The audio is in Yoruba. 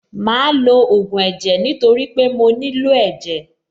Màá lo ògùn ẹ̀jẹ̀ nítorí pé mo nílò ẹ̀jẹ̀.